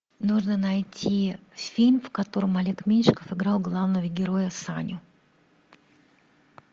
нужно найти фильм в котором олег меньшиков играл главного героя саню